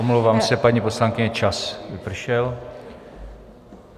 Omlouvám se, paní poslankyně, čas vypršel.